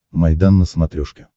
майдан на смотрешке